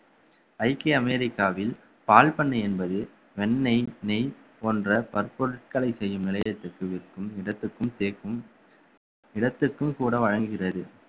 ஐக்கிய அமெரிக்காவில் பால் பண்ணை என்பது வெண்ணெய் நெய் போன்ற பற்பொருட்களை செய்யும் நிலையத்திற்கு விற்கும் இடத்திற்கும் சேர்க்கும் நிலத்துக்கும் கூட வழங்குகிறது